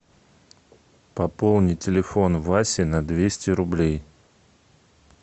пополни телефон васи на двести рублей